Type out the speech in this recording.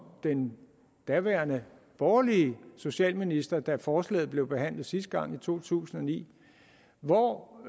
den daværende borgerlige socialminister da forslaget blev behandlet sidste gang i to tusind og ni hvor